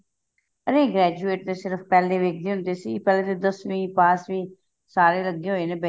graduate ਤੇ ਸਿਰਫ ਪਹਿਲੇ ਦੇਖਦੇ ਹੁੰਦੇ ਸੀ ਪਹਿਲੇ ਤੇ ਦਸਵੀਂ ਪਾਸ ਵੀ ਸਾਰੇ ਲੱਗੇ ਹੋਏ ਨੇ